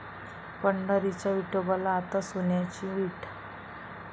पंढरीच्या विठोबाला आता सोन्याची वीट!